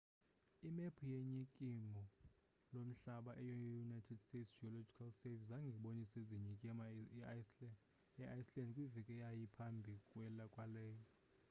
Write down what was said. imephu ye nyikimo lomhlaba yeunited states geological survey zange ibonise zinyikima eiceland kwiveki eyayiphambi kwaleyo